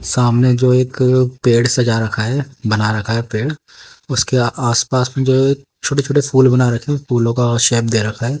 सामने जो एक पेड़ सजा रखा है बना रखा है पेड़ उसके आसपास में जो छोटे छोटे फूल बना रखे हैं फूलों का शेप दे रखा है।